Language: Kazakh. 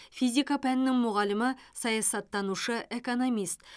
физика пәнінің мұғалімі саясаттанушы экономист